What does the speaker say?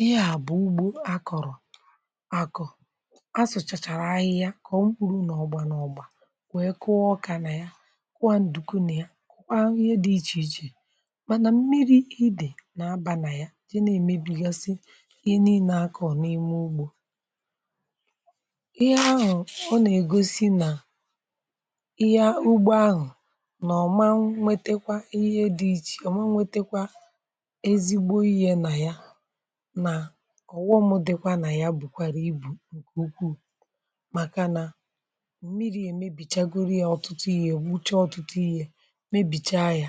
Ihe a bụ̀ ugbò akọ̀rọ̀. A sụ̀chàchàrà ahịhịa, ka ọ mkpụrụ nà ugbò, nà ugbò, wee kụọ ọkà nà ya, kwà ǹdùku nà ya, ǹkwe hụ ihe dị iche iche. um Mànà mmiri idè nà-abà nà ya, jee nà-èmébigosi ihe niile akọ̀ n’ime ugbò. Ihe ahụ̀ ọ nà-ègosi nà ihe ugbò ahụ̀ nà ọ ma, nwetekwa ihe dị iche, ọ ma nwetekwa ezigbo ihe nà ya. Ọ̀ghọ̀m dịkwa nà ya, bụ̀kwàrà ibù nke ukwu, maka nà òmmiri̇ èmebìchàgoro ya. Ọ̀tụtụ ihe ègbuchè, ọ̀tụtụ ihe mèbìchà ya,